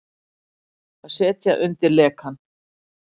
Að setja undir lekann